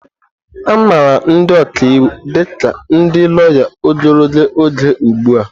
Amara ndị ọka iwu dị ka ndị lawya ogologo oge ugbu a.